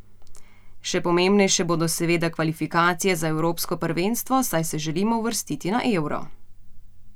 Še pomembnejše bodo seveda kvalifikacije za evropsko prvenstvo, saj se želimo uvrstiti na Euro.